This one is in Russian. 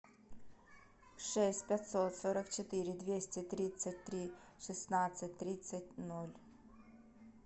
шесть пятьсот сорок четыре двести тридцать три шестнадцать тридцать ноль